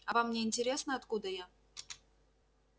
а вам не интересно откуда я